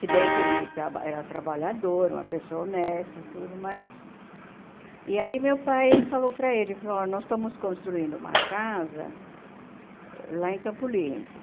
Se bem que ele traba era trabalhador, uma pessoa honesta, tudo, mas... E aí meu pai falou para ele, falou, oh nós estamos construindo uma casa lá em Campo Limpo.